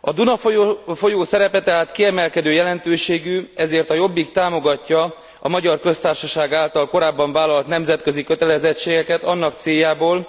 A Duna folyó szerepe tehát kiemelkedő jelentőségű, ezért a Jobbik támogatja a Magyar Köztársaság által korábban vállalt nemzetközi kötelezettségeket annak céljából,